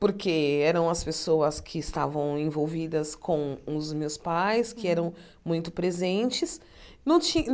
porque eram as pessoas que estavam envolvidas com os meus pais, que eram muito presentes. Não